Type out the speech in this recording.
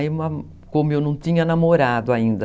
Aí, como eu não tinha namorado ainda...